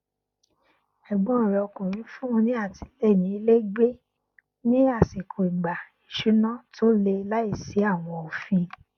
ẹgbọn rẹ ọkùnrin fún un ní àtìlẹyìn iléìgbé ní àsìkò ìgbà ìṣúná tó le láìsí àwọn òfin